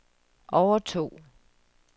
overtog